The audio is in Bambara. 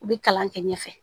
U bɛ kalan kɛ ɲɛfɛ